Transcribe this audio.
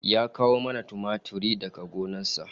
Ya kawo mana tumatir daga gona sa